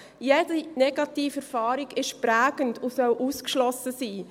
Jede Negativerfahrung ist prägend und soll ausgeschlossen sein.